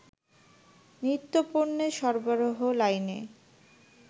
নিত্যপণ্যের সরবরাহ লাইনে